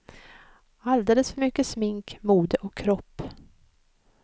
Alldeles för mycket smink, mode och kropp.